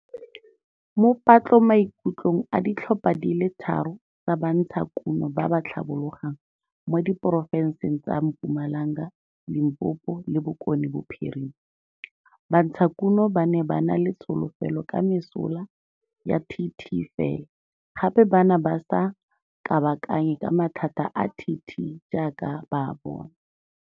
Mo patlomaikutlong a ditlhopha di le tharo tsa bantshakuno ba ba tlhabologang mo diporofenseng tsa Mpumalanga, Limpopo le Bokonebophirima, bantshakuno ba ne ba na le tsholofelo ka mesola ya TT fela gape ba ne ba sa kabakanye ka mathata a TT jaaka ba a bona.